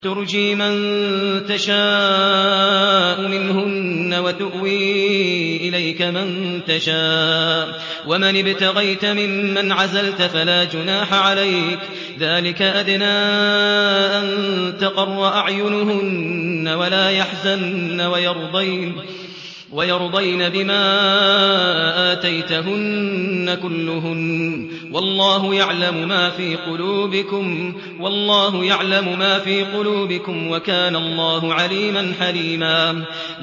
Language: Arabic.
۞ تُرْجِي مَن تَشَاءُ مِنْهُنَّ وَتُؤْوِي إِلَيْكَ مَن تَشَاءُ ۖ وَمَنِ ابْتَغَيْتَ مِمَّنْ عَزَلْتَ فَلَا جُنَاحَ عَلَيْكَ ۚ ذَٰلِكَ أَدْنَىٰ أَن تَقَرَّ أَعْيُنُهُنَّ وَلَا يَحْزَنَّ وَيَرْضَيْنَ بِمَا آتَيْتَهُنَّ كُلُّهُنَّ ۚ وَاللَّهُ يَعْلَمُ مَا فِي قُلُوبِكُمْ ۚ وَكَانَ اللَّهُ عَلِيمًا حَلِيمًا